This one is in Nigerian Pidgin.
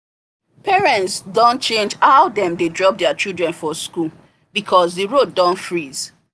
parents don change how dem dey drop their children for school because the road don freeze